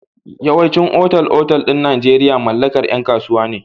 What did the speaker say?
Yawaicin otal-otal ɗin Najeirya mallakar yan kasuwa ne.